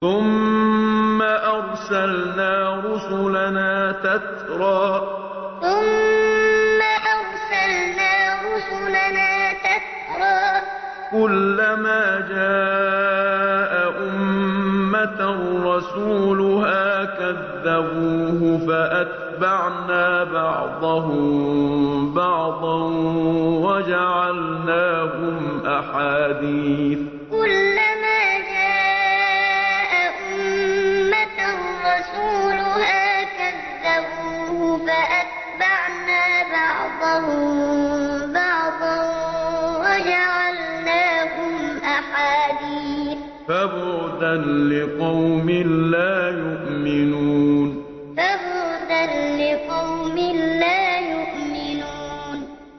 ثُمَّ أَرْسَلْنَا رُسُلَنَا تَتْرَىٰ ۖ كُلَّ مَا جَاءَ أُمَّةً رَّسُولُهَا كَذَّبُوهُ ۚ فَأَتْبَعْنَا بَعْضَهُم بَعْضًا وَجَعَلْنَاهُمْ أَحَادِيثَ ۚ فَبُعْدًا لِّقَوْمٍ لَّا يُؤْمِنُونَ ثُمَّ أَرْسَلْنَا رُسُلَنَا تَتْرَىٰ ۖ كُلَّ مَا جَاءَ أُمَّةً رَّسُولُهَا كَذَّبُوهُ ۚ فَأَتْبَعْنَا بَعْضَهُم بَعْضًا وَجَعَلْنَاهُمْ أَحَادِيثَ ۚ فَبُعْدًا لِّقَوْمٍ لَّا يُؤْمِنُونَ